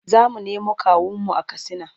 Za mu nemo kawunmu a Katsina.